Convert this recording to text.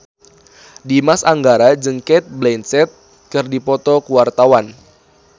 Dimas Anggara jeung Cate Blanchett keur dipoto ku wartawan